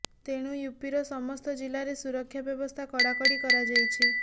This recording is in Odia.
ତେଣୁ ୟୁପିର ସମସ୍ତ ଜିଲ୍ଲାରେ ସୁରକ୍ଷା ବ୍ୟବସ୍ଥା କଡ଼ାକଡ଼ି କରାଯାଇଛି